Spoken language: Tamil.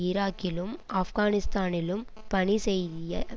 ஈராக்கிலும் ஆப்கானிஸ்தானிலும் பணி செய்ய